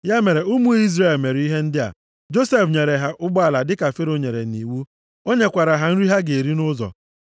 Ya mere ụmụ Izrel mere ihe ndị a. Josef nyere ha ụgbọala dịka Fero nyere nʼiwu. O nyekwara ha nri ha ga-eri nʼụzọ.